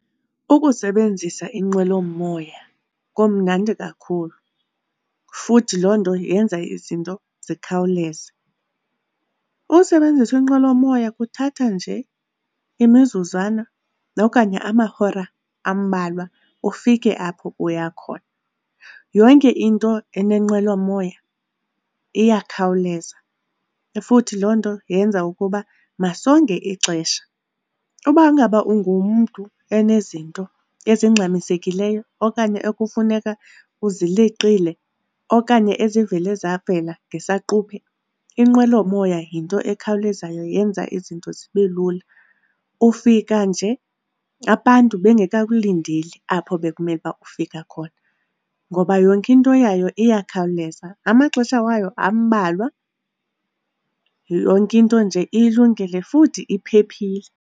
Ukusebenzisa inqwelomoya kumnandi kakhulu futhi loo nto yenza izinto zikhawuleze. Usebenzisa inqwelomoya kuthatha nje imizuzwana okanye amahora ambalwa ufike apho uya khona. Yonke into enenqwelomoya iyakhawuleza futhi loo nto yenza ukuba masonge ixesha uba ngaba ungumntu onezinto ezingxamisekileyo okanye ekufuneka uzileqile okanye ezivele zavela ngesaquphe. Inqwelomoya yinto ekhawulezayo, yenza izinto zibe lula, ufika nje abantu bengekakulindeli apho bekumele uba ufika khona ngoba yonke into yayo iyakhawuleza, amaxesha wayo ambalwa, yonke into nje ilungile futhi iphephile.